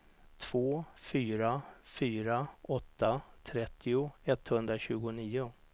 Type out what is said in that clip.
två fyra fyra åtta trettio etthundratjugonio